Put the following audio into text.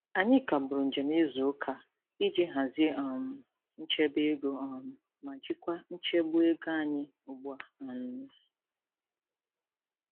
Anyị kagburu njem izuụka a iji hazie um nchebeego um ma jikwa nchegbu ego anyị ugbua. um